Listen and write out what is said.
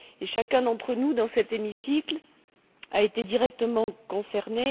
Et chacun d'entre nous dans cet hémicycle a été directement concerné.